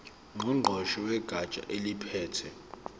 ngqongqoshe wegatsha eliphethe